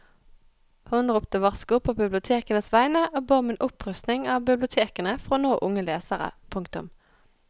Hun ropte varsko på bibliotekenes vegne og ba om en opprustning av bibliotekene for å nå unge lesere. punktum